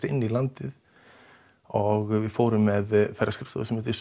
inn í landið og við fórum með ferðaskrifstofu sem heitir